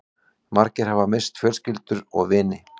Margir hafa misst fjölskyldur og vini